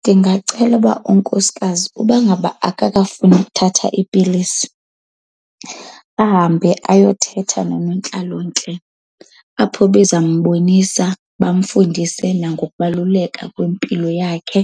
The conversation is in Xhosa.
Ndingacela uba unkosikazi uba ngaba akakafuni ukuthatha iipilisi, ahambe ayothetha nonontlalontle apho bezambonisa bamfundise nangokubaluleka kwempilo yakhe.